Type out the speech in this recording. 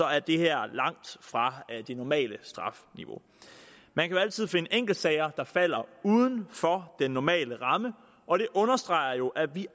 er det her langt fra det normale strafniveau man kan altid finde enkeltsager der falder uden for den normale ramme og det understreger jo at vi